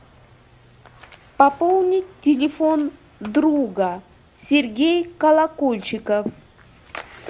пополнить телефон друга сергей колокольчиков